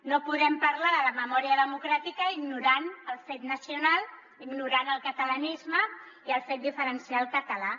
no podem parlar de la memòria democràtica ignorant el fet nacional ignorant el catalanisme i el fet diferencial català